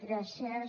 gràcies